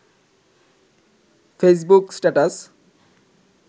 Facebook status